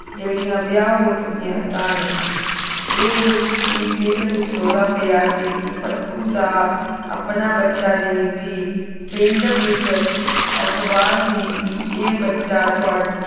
ਜਿਹੜੀਆਂ ਵਿਆਹ ਹੋ ਚੁੱਕਿਆ ਸਨ ਇਹ ਵੀ ਪਿੰਡ ਵਿਚ ਰੌਲਾ ਪਿਆ ਸੀ ਕਿ ਭੱਤੂ ਦਾ ਆਪਣਾ ਬੱਚਾ ਨਹੀਂ ਸੀ ਪਿੰਡ ਵਿਚ ਅਫਵਾਹ ਸੀ ਕਿ ਇਹ ਬੱਚਾ ਤੁਹਾਡ